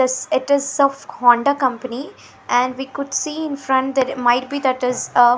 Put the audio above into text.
This it is of Honda company and we could see in front there might be that is a--